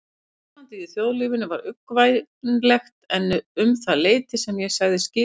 Ástandið í þjóðlífinu var uggvænlegt um það leyti sem ég sagði skilið við